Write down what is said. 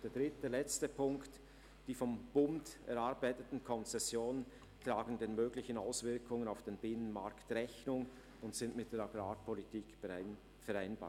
Der dritte und letzte Punkt: Die vom Bund erarbeiteten Konzessionen tragen den möglichen Auswirkungen auf den Binnenmarkt Rechnung und sind mit der Agrarpolitik vereinbar.